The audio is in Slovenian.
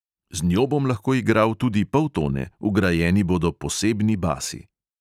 "Z njo bom lahko igral tudi poltone, vgrajeni bodo posebni basi."